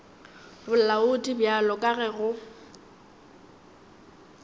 bolaodi bjalo ka ge go